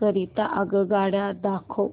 करीता आगगाड्या दाखवा